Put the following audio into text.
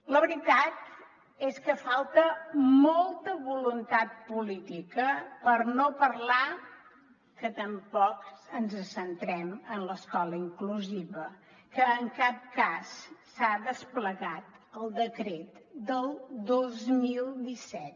la veritat és que falta molta voluntat política per no parlar que tampoc ens centrem en l’escola inclusiva que en cap cas s’ha desplegat el decret del dos mil disset